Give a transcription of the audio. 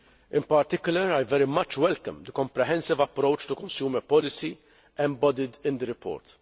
In particular, I very much welcome the comprehensive approach to consumer policy embodied in the report.